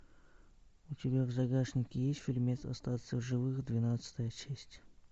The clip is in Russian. у тебя в загашнике есть фильмец остаться в живых двенадцатая часть